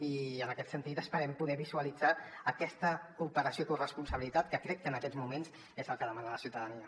i en aquest sentit esperem poder visualitzar aquesta cooperació i corresponsabilitat que crec que en aquests moments és el que demana la ciutadania